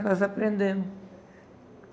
nós aprendemos.